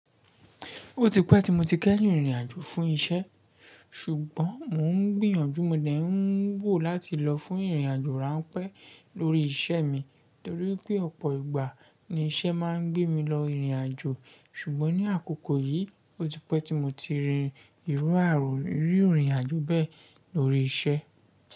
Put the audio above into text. Ó ti pẹ́ tí mo ti kẹ́yìn rìrìn àjò fún iṣẹ́, ṣùgbọ́n mò ń gbìyànjú mo dè ń wò láti lọ fún ìrìnàjò ránpẹ́ lórí iṣẹ́ mi, torí pé ọ̀pọ̀ ìgbà ni iṣẹ́ máa ń gbé mi lọ ìrìn àjò. Ṣùgbọ́n ní àkókò yìí, ó ti pẹ́ tí mo ti rí irú àárọ̀ rírìn àjò bẹ́ẹ̀ lórí iṣẹ́.